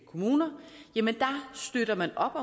kommuner jamen der støtter man op